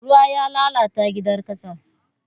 Ruwa ya lalata gidan ƙasar.